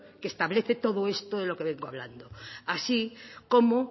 que establece todo esto de lo que vengo hablando así como